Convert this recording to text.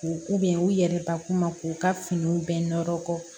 K'u bɛ u yɛrɛbakun ma k'u ka finiw bɛɛ nɔrɔ kɔ